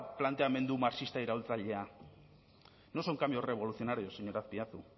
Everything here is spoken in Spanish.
planteamendu marxista iraultzailea no son cambios revolucionarios señor azpiazu